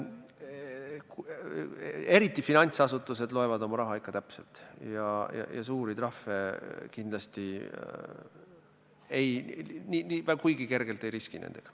Eriti finantsasutused loevad oma raha ikka täpselt ja suurte trahvidega kindlasti kuigi kergelt ei riskita.